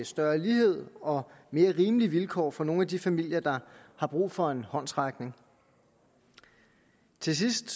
større lighed og mere rimelige vilkår for nogle af de familier der har brug for en håndsrækning til sidst